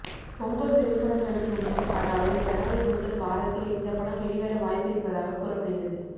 பொங்கல் திரைப்படங்களுக்கு முன் அதாவது ஜனவரி முதல் வாரத்தில் இந்த படம் வெளிவர வாய்ப்பு இருப்பதாக கூறப்படுகிறது